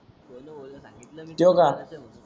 थोड थोड सांगितल मी तोय बा